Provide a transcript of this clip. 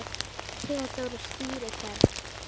Theódór stýrir ferð.